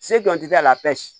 Se jɔn tɛ a la